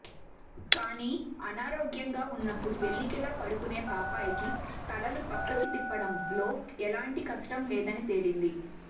కానీ అనారోగ్యంగా ఉన్నప్పుడు వెల్లకిలా పడుకునే పాపాయిలకి తలలు పక్కకి తిప్పడంలో ఎలాంటి కష్టం లేదని తేలింది